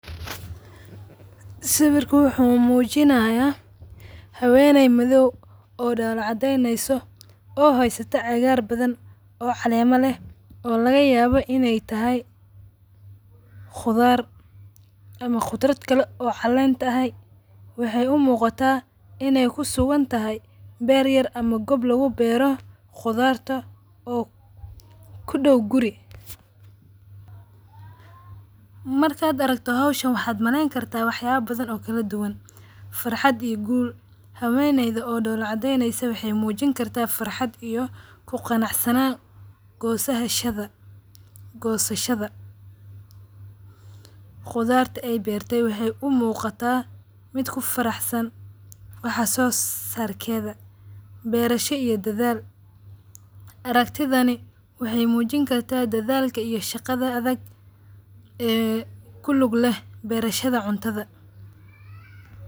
Sawirka wuxu mujinaya haweenay madhaw oo dola cadeyneso oo hysta cagaar badhan oo caleema leeh oo lagayawo inay tahay qudhaar ama qudhrat kale oo caleen tahay. Waxay u muqada inay kusuguntahay beer yar ama qoob lagu beero qudhaarta oo kudaw quri. Markaad aragto hawsahan waxad maleen kartaa waxyaba badhaan oo kala duwaan faraxad iyo guul. Haweynayda oo doola cadeynysa waxay mujin kartaa farxaad iyo ku ganac sanaan goosahashadha. Qudharta ay beertay waxay u magata mid kufaraxsaan waax soo sarkedha beerasha iyo dadhaal. Araktidhani waxay mujani kartaa dadhaal iyo shagadha adag ee kulig leeh berashadha cuntadha.